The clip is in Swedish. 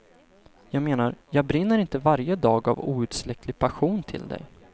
Jag menar, jag brinner inte varje dag av outsläcklig passion till dig.